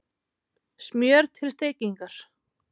Smjör til steikingar